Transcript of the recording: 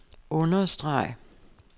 understreg